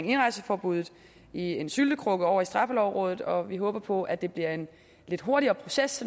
indrejseforbuddet i en syltekrukke ovre i straffelovrådet og vi håber på at det bliver en lidt hurtigere proces